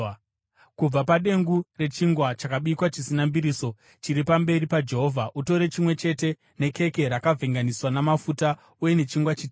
Kubva padengu rechingwa chakabikwa chisina mbiriso, chiri pamberi paJehovha, utore chimwe chete, nekeke rakavhenganiswa namafuta, uye nechingwa chitete.